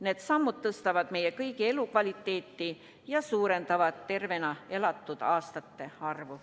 Need sammud tõstavad meie kõigi elukvaliteeti ja suurendavad tervena elatud eluaastate arvu.